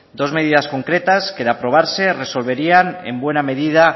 dos medidas concretas que de aprobarse resolverían en buena medida